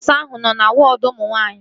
Nọọsu ahụ nọ na wọọdu ụmụ nwaanyị